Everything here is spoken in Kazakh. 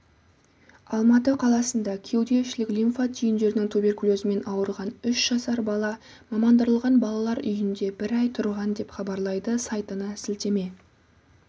алматы қаласында кеуде ішілік лимфа түйіндерінің туберкулезімен ауырған үш жасар бала мамандандырылған балалар үйінде бір ай тұрған деп хабарлайды сайтына сілтеме